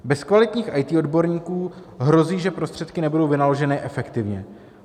Bez kvalitních IT odborníků hrozí, že prostředky nebudou vynaloženy efektivně.